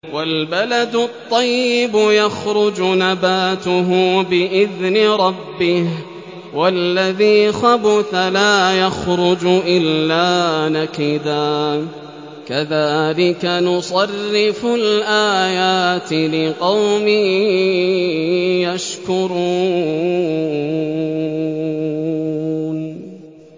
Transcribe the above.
وَالْبَلَدُ الطَّيِّبُ يَخْرُجُ نَبَاتُهُ بِإِذْنِ رَبِّهِ ۖ وَالَّذِي خَبُثَ لَا يَخْرُجُ إِلَّا نَكِدًا ۚ كَذَٰلِكَ نُصَرِّفُ الْآيَاتِ لِقَوْمٍ يَشْكُرُونَ